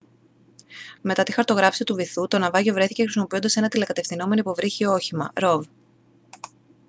μετά τη χαρτογράφηση του βυθού το ναυάγιο βρέθηκε χρησιμοποιώντας ένα τηλεκατευθυνόμενο υποβρύχιο όχημα rov